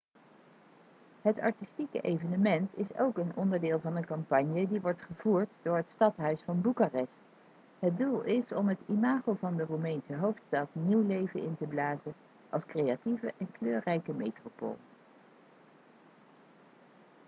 het artistieke evenement is ook een onderdeel van een campagne die wordt gevoerd door het stadhuis van boekarest het doel is om het imago van de roemeense hoofdstad nieuw leven in te blazen als creatieve en kleurrijke metropool